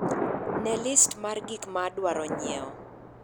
ne list mar gik ma adwaro nyiewo